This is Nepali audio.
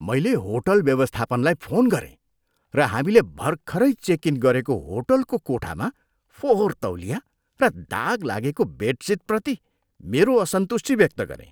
मैले होटल व्यवस्थापनलाई फोन गरेँ र हामीले भर्खरै चेक इन गरेको होटलको कोठामा फोहोर तौलिया र दाग लागेको बेडसिटप्रति मेरो असन्तुष्टि व्यक्त गरेँ।